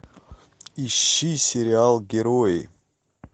ищи сериал герои